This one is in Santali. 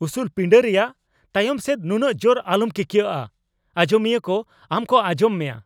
ᱩᱥᱩᱞ ᱯᱤᱸᱰᱟᱹ ᱨᱮᱭᱟᱜ ᱛᱟᱭᱚᱢ ᱥᱮᱫ ᱱᱩᱱᱟᱹᱜ ᱡᱳᱨ ᱟᱞᱚᱢ ᱠᱤᱠᱭᱟᱹᱜᱼᱟ ᱾ ᱟᱸᱡᱚᱢᱤᱭᱟᱹ ᱠᱚ ᱟᱢ ᱠᱚ ᱟᱸᱡᱚᱢ ᱢᱮᱭᱟ ᱾